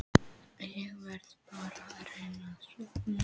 Ég verð bara að reyna að sofna.